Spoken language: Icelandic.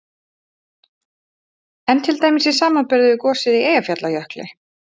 En til dæmis í samanburði við gosið í Eyjafjallajökli?